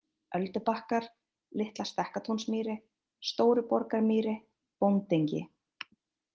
Öldubakkar, Litla-Stekkatúnsmýri, Stóruborgarmýri, Bóndengi